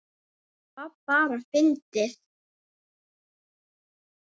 Það var bara fyndið.